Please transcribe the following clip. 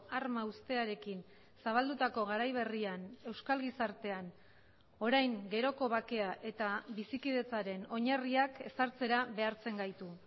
arma uztearekin zabaldutako garai berrian euskal gizartean orain geroko bakea eta bizikidetzaren oinarriak ezartzera behartzen gaitu